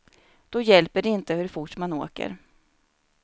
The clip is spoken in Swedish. Då hjälper det inte hur fort man åker.